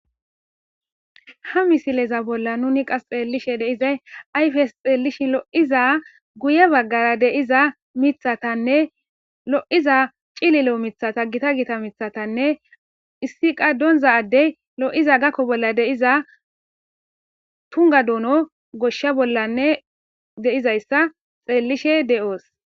Ha misileza bolla nuni qas xeellishe deizay ayfes xeellishin lo'iza guye baggara deiza mithatanne lo'iza cililo mithata gita gita mithatanne issi qa donza addey lo'iza gakko bolla deiza tunga duuno goshsha bollanne deizayssa xeellishe de'oos.